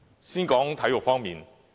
先談談體育方面。